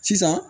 Sisan